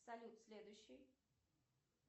салют следующий